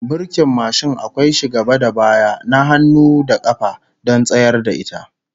Burkin mashin akwai shi gaba da baya, na hannu da kafa, don tsayar da ita